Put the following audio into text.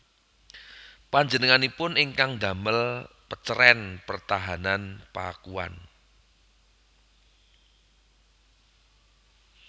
Panjenenganipun ingkang ndamel pecerèn pertahanan Pakuan